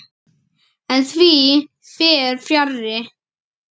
En því fer fjarri.